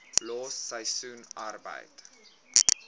los seisoensarbeid